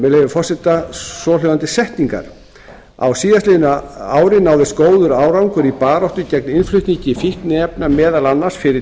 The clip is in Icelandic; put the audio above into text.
forseta svohljóðandi setninga á síðastliðnu ári náðist góður árangur í baráttu gegn innflutningi fíkniefna meðal annars fyrir